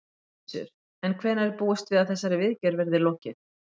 Gissur: En hvenær er búist við að þessari viðgerð verði lokið?